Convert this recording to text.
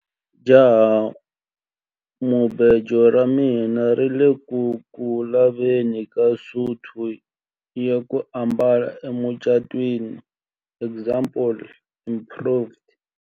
Jahamubejo ra mina ri ku le ku laveni ka suti ya ku ambala emucatwini example improved.